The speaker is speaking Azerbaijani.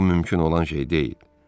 Bu mümkün olan şey deyil.